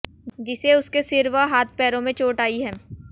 जिसे उसके सिर व हाथ पैरों में चोटें आई है